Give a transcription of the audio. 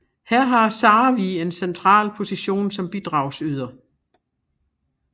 Her havde Sarvig en central position som bidragsyder